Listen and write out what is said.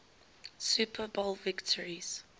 super bowl victories